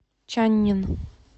чаннин